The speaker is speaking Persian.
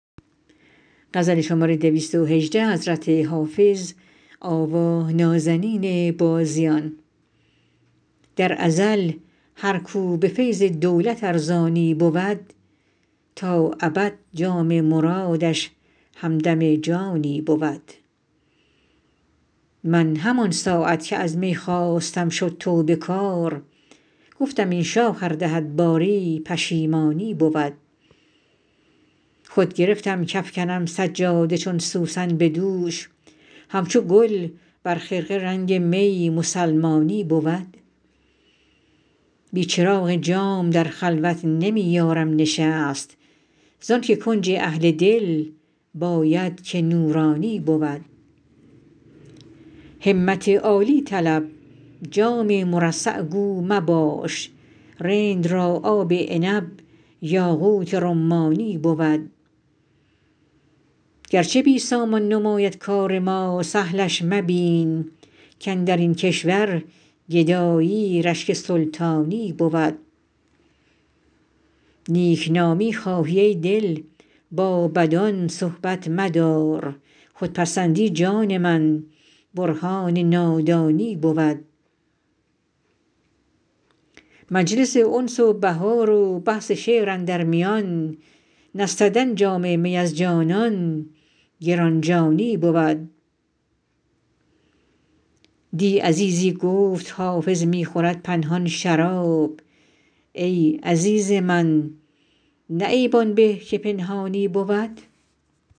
در ازل هر کو به فیض دولت ارزانی بود تا ابد جام مرادش همدم جانی بود من همان ساعت که از می خواستم شد توبه کار گفتم این شاخ ار دهد باری پشیمانی بود خود گرفتم کافکنم سجاده چون سوسن به دوش همچو گل بر خرقه رنگ می مسلمانی بود بی چراغ جام در خلوت نمی یارم نشست زان که کنج اهل دل باید که نورانی بود همت عالی طلب جام مرصع گو مباش رند را آب عنب یاقوت رمانی بود گرچه بی سامان نماید کار ما سهلش مبین کاندر این کشور گدایی رشک سلطانی بود نیک نامی خواهی ای دل با بدان صحبت مدار خودپسندی جان من برهان نادانی بود مجلس انس و بهار و بحث شعر اندر میان نستدن جام می از جانان گران جانی بود دی عزیزی گفت حافظ می خورد پنهان شراب ای عزیز من نه عیب آن به که پنهانی بود